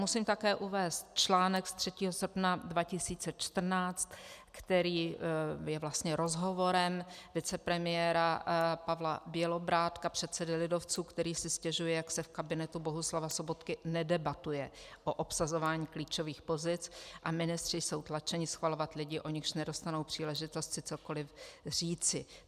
Musím také uvést článek z 3. srpna 2014, který je vlastně rozhovorem vicepremiéra Pavla Bělobrádka, předsedy lidovců, který si stěžuje, jak se v kabinetu Bohuslava Sobotky nedebatuje o obsazování klíčových pozic a ministři jsou tlačeni schvalovat lidi, o nichž nedostanou příležitost si cokoliv říci.